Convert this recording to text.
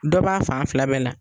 Dɔ b'a fan fila bɛɛ la